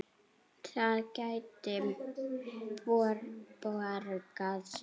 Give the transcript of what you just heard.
Það gæti borgað sig.